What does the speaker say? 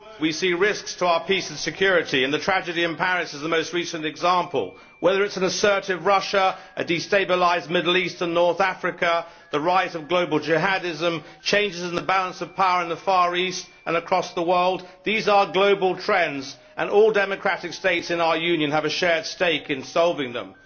Madam President, across the globe we see risks to our peace and security, and the tragedy in Paris is the most recent example. Whether it is an assertive Russia, a destabilised Middle East and North Africa, the rise of global jihadism, changes in the balance of power in the Far East and across the world these are global trends, and all democratic States in our Union have a shared stake in solving them.